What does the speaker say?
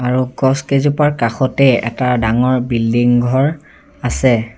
আৰু গছ কেইজোপাৰ কাষতে এটা ডাঙৰ বিল্ডিং ঘৰ আছে।